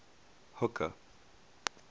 hooker